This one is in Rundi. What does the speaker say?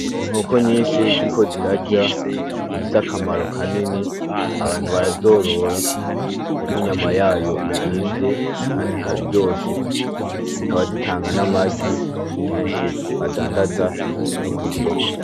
Inkoko nyinshi ziriko zirarya, zifise akamaro kanini, abantu barazorora kuko inyama yazo izimvye Kandi ikaba iryoshe zikaba zitanga n'amagi kenshi badandaza no kw'isoko.